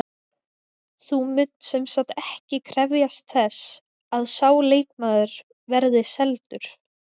Þú munt semsagt ekki krefjast þess að sá leikmaður verði seldur?